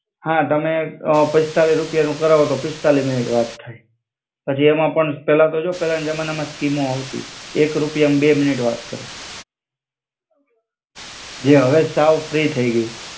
હા તમે અ પીસ્તાલી રૂપિયાનું કરવો તો પીસ્તાલી મિનિટ વાત થાય. પછી એમાં પણ પેલા તો જો, પેલાના જમાનામાં સ્કીમો આવતી, એક રૂપિયામાં બે મિનિટ વાત કરવા. જે અવે સાવ ફ્રી થઇ ગઈ.